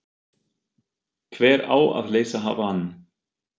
Hver á að leysa hann af?